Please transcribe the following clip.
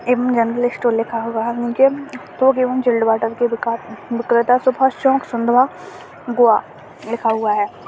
एवं general store लिखा हुआ है नीचे थोक एवं चिल्ड वाटर की दुकान विक्रेता से फर्स्ट चौक गोवा लिखा हुआ है।